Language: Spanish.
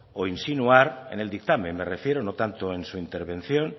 o insinuar en el dictamen me refiero no tanto en su intervención